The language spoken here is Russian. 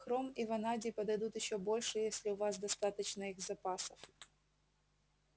хром и ванадий подойдут ещё больше если у вас достаточно их запасов